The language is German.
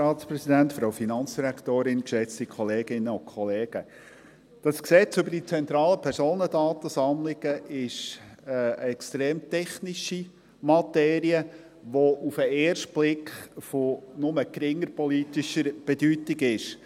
Das PDSG ist eine extrem technische Materie, die auf den ersten Blick von nur geringer politischer Bedeutung ist.